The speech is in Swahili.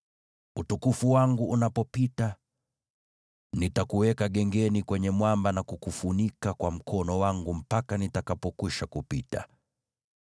Utukufu wangu unapopita, nitakuweka gengeni kwenye mwamba na kukufunika kwa mkono wangu mpaka nitakapokwisha kupita.